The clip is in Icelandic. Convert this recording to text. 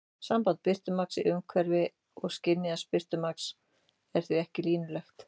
Samband birtumagns í umhverfi og skynjaðs birtumagns er því ekki línulegt.